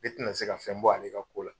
Ne tena se ka fɛn bɔ ale ka ko la.